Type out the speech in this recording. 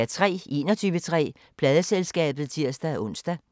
21:03: Pladeselskabet (tir-ons)